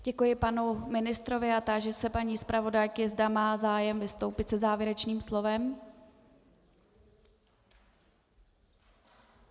Děkuji panu ministrovi a táži se paní zpravodajky, zda má zájem vystoupit se závěrečným slovem.